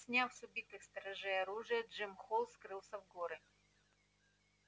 сняв с убитых сторожей оружие джим холл скрылся в горы